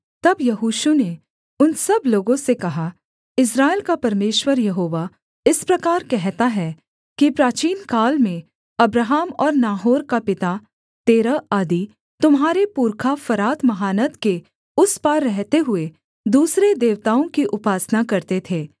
तब यहोशू ने उन सब लोगों से कहा इस्राएल का परमेश्वर यहोवा इस प्रकार कहता है कि प्राचीनकाल में अब्राहम और नाहोर का पिता तेरह आदि तुम्हारे पुरखा फरात महानद के उस पार रहते हुए दूसरे देवताओं की उपासना करते थे